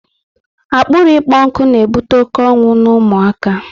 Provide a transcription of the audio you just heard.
Akpịrị ịkpọ nkụ na ebute oké ọnwụ n'ụmụ aka